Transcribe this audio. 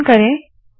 संकलन करे